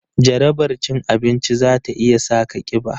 Jarabar cin abinci za ta iya sa ka kiba